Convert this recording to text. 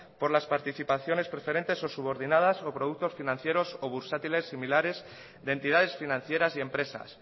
por las participaciones preferentes o subordinadas o productos financieros o bursátiles similares de entidades financieras y empresas